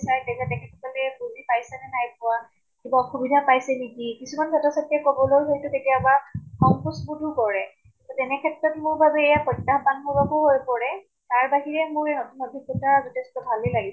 চাই তেখেত সকলে বুজি পাইছে নে নাই পোৱা, কিবা অসুবিধা পাইছে নেকি, কিছুমান ছাত্ৰ চাত্ৰীয়ে কবলৈ হয়্তু কেতিয়াবা সংকোচ বোধো কৰে। তেনে ক্ষেত্ৰত মোৰ বাবে এয়া প্ৰত্যাহবান হৈ পৰে। তাৰ বাহিৰে মোৰ নতুন অভিজ্ঞ্তা যথেষ্ট ভালে লাগিছে।